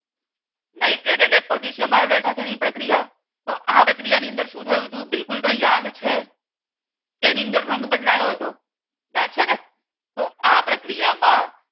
Nitrate અને potassium iodide સાથે ની પ્રક્રિયા તો આ પ્રક્રિયા ની અંદર શું થયું તું તમને યાદ છે કે એની અંદર રંગ બદલાયો હતો. યાદ છે ને તો આ પ્રક્રિયા માં